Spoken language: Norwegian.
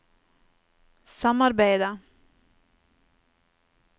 samarbeidet